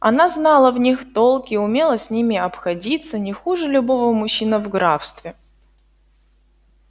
она знала в них толк и умела с ними обходиться не хуже любого мужчины в графстве